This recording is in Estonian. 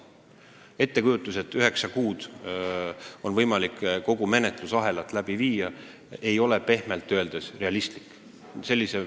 Ettekujutus, et üheksa kuuga on võimalik kogu menetlusahel läbi viia, ei ole pehmelt öeldes realistlik.